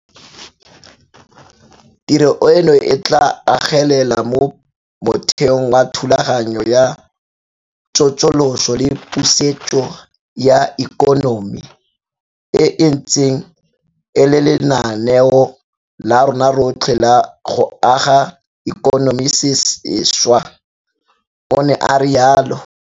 Tiro eno e tla agelela mo motheong wa Thulaganyo ya Tsosoloso le Pusetso ya Ikonomi, e e ntseng e le lenaneo la rona rotlhe la go aga ikonomi sešwa, o ne a rialo.